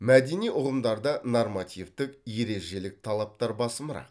мәдени ұғымдарда нормативтік ережелік талаптар басымырақ